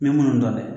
N bɛ munnu dɔn dɛ